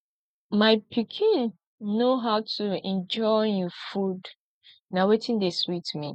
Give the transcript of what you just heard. my pikin know how to enjoy im food na wetin dey sweet me